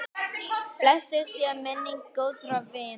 Blessuð sé minning góðra vina.